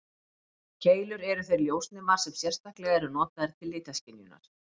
Keilur eru þeir ljósnemar sem sérstaklega eru notaðir til litaskynjunar.